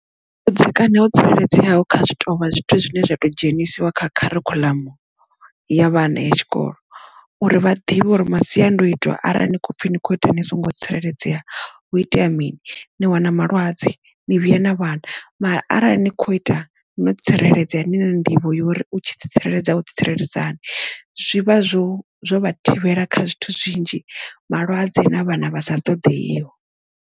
Vhudzekani ho tsireledzeaho kha zwi tovha zwithu zwine zwa to dzhenisiwa kha kharikhuḽamu ya vhana ya tshikolo uri vha ḓivhe uri masiandoitwa arali ni khopfhi ni kho ita ni songo tsireledzea hu itea mini ni wana malwadze ni vhuya na vhana mara arali ni kho ita no tsireledzea nina nḓivho yo uri u tshi tsireledza o tsireledzisani zwivha zwo zwo vha thivhela kha zwithu zwinzhi malwadze na vhana vha sa ṱoḓeiho.